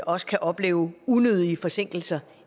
også kan opleve unødige forsinkelser